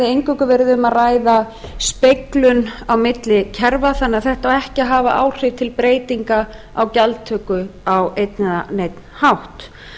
eingöngu verið um að ræða speglun á milli kerfa þannig að þetta á ekki að hafa áhrif til breytinga á gjaldtöku á einn eða neinn hátt